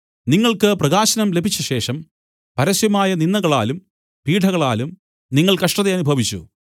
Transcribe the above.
നിങ്ങൾക്ക് പ്രകാശനം ലഭിച്ചശേഷം പരസ്യമായ നിന്ദകളാലും പീഢകളാലും നിങ്ങൾ കഷ്ടതയനുഭവിച്ചു